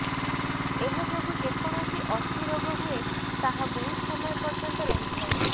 ଏହା ଯୋଗୁଁ ଯେକୌଣସି ଅସ୍ଥି ରୋଗ ହୁଏ ତାହା ବହୁତ ସମୟ ପର୍ଯ୍ୟନ୍ତ ରହିଥାଏ